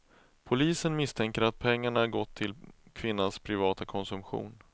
Polisen misstänker att pengarna gått till kvinnans privata konsumtion.